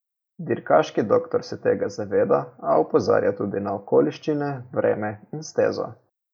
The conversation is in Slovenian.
Dirkaški Doktor se tega zaveda, a opozarja tudi na okoliščine, vreme in stezo.